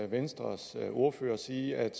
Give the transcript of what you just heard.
venstres ordfører sige at